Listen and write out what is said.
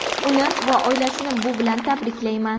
Uni va oilasini bu bilan tabriklayman.